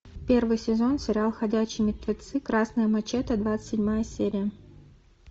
первый сезон сериал ходячие мертвецы красная мачете двадцать седьмая серия